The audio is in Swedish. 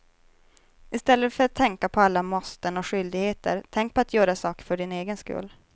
Istället för att tänka på alla måsten och skyldigheter, tänk på att göra saker för din egen skull.